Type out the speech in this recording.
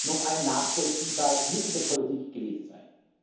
noch ein nachvollziehbares Mittel der Politik gewesen sein.